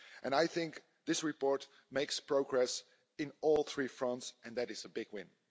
I think this report makes progress on all three fronts, and that is a big win.